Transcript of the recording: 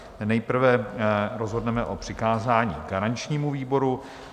Nejprve rozhodneme o přikázání garančnímu výboru.